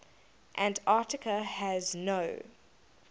antarctica has no